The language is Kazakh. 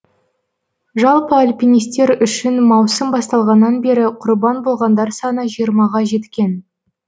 жалпы альпинистер үшін маусым басталғаннан бері құрбан болғандар саны жиырмаға жеткен